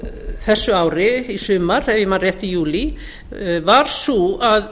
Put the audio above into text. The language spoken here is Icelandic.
þessu ári í sumar ef ég man rétt í júlí var sú að